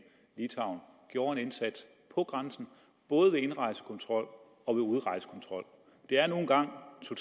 litauen gjorde en indsats på grænsen både ved indrejsekontrol og ved udrejsekontrol det er nu engang